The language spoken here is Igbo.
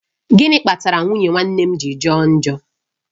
Gịnị kpatara nwunye nwanne m ji jọ njọ?